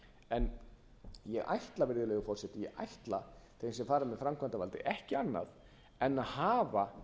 en ég ætla virðulegur forseti ég ætla þeim sem fara með framkvæmdarvaldið ekki annað en að hafa